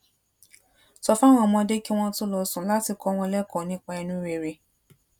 sọ fáwọn ọmọdé kí wón tó lọ sùn láti kó wọn lẹkọọ nípa inú rere